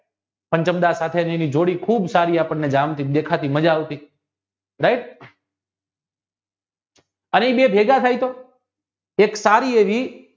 જોડી ખુબ સારી આપણને જાણતી દેખાતી માજા આવતી right અને બેય ભેગા થાય તો એક કાવ્ય